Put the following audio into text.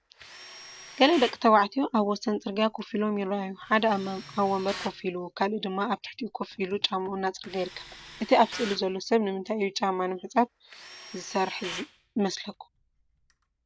ገለ ደቂ ተባዕትዮ ኣብ ወሰን ጽርግያ ኮፍ ኢሎም ይረኣዩ። ሓደ ኣብ መንበር ኮፍ ኢሉ፡ ካልእ ድማ ኣብ ትሕቲኡ ኮፍ ኢሉ ጫማኡ እናጸረገ ይርከብ። እቲ ኣብ ስእሊ ዘሎ ሰብ ንምንታይ እዩ ጫማ ንምሕጻብ ዝሰርሕ ዘሎ ይመስለኩም?